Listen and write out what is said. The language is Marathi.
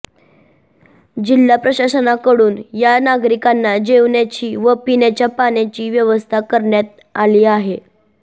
जिल्हा प्रशासनाकडून या नागरिकांच्या जेवणाची व पिण्याच्या पाण्याची व्यवस्था करण्यात आली आहे